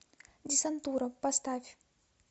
десантура поставь